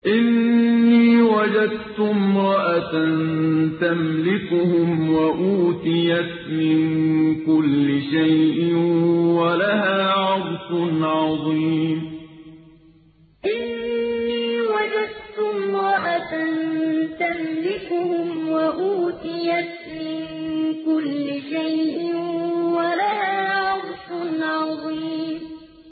إِنِّي وَجَدتُّ امْرَأَةً تَمْلِكُهُمْ وَأُوتِيَتْ مِن كُلِّ شَيْءٍ وَلَهَا عَرْشٌ عَظِيمٌ إِنِّي وَجَدتُّ امْرَأَةً تَمْلِكُهُمْ وَأُوتِيَتْ مِن كُلِّ شَيْءٍ وَلَهَا عَرْشٌ عَظِيمٌ